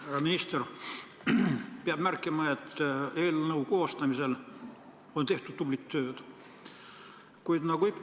Härra minister, peab märkima, et eelnõu koostamisel on tehtud tublit tööd!